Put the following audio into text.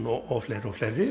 og fleiri og fleiri